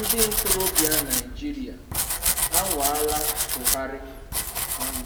Ndị ntorobịa Naijiria anwaala Buhari um